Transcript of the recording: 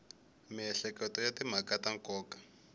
miehleketo ya timhaka ta nkoka